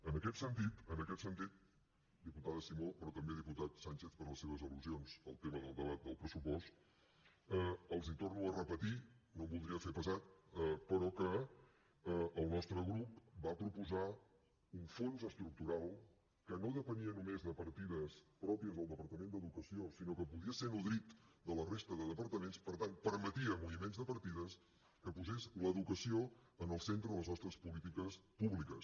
en aquest sentit en aquest sentit diputada simó però també diputat sánchez per les seves al·lusions al tema del debat del pressupost els torno a repetir no em voldria fer pesat però que el nostre grup va proposar un fons estructural que no depenia només de partides pròpies del departament d’educació sinó que podia ser nodrit de la resta de departaments per tant permetia moviments de partides que posés l’educació en el centre de les nostres polítiques públiques